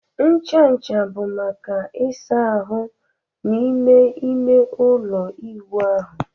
Ncha ncha bụ maka ịsa ahụ n'ime ime ụlọ ịwụ ahụ